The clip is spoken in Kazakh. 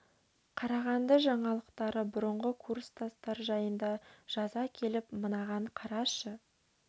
қарағанды жаңалықтары бұрынғы курстастары жайында жаза келіп мынаған қарашы